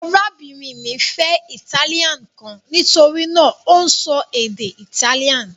Arábìnrin mi fẹ́ italian kan: nítorí náà, ó ń sọ èdè Italian